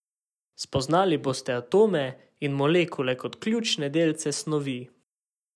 Spoznali boste atome in molekule kot ključne delce snovi.